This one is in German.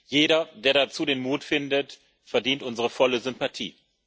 Jeder, der dazu den Mut findet, verdient unsere volle Sympathie.